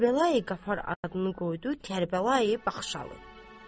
Kərbəla qafar adını qoydu Kərbəla Baxşalı.